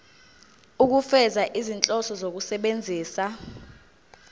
ukufeza izinhloso zokusebenzisa